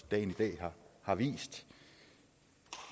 dagen i dag har vist